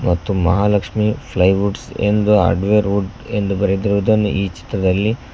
ಮತ್ತು Mahalakshmi ply woods ಎಂದು hardware wood ಎಂದು ಬರೆದಿರುವುದನ್ನು ಈ ಚಿತ್ರದಲ್ಲಿ --